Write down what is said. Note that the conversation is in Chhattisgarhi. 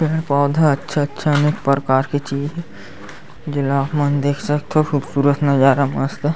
यह पौधा अच्छा - अच्छा अनेक प्रकार के चीज़ जेला आपमन देख सकथव खूबसूरत नज़ारा मस्त--